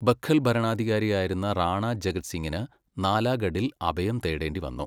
ബഘൽ ഭരണാധികാരിയായിരുന്ന റാണാ ജഗത് സിങ്ങിന് നാലാഗഡിൽ അഭയം തേടേണ്ടി വന്നു.